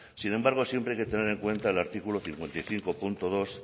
sin embargo siempre hay que tener en cuenta el artículo cincuenta y cinco punto dos